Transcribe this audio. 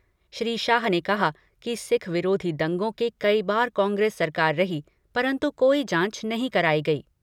श्री शाह ने कहा कि सिख विरोधी दंगों के कई बार कांग्रेस सरकार रही, परंतु कोई जाँच नहीं कराई गई।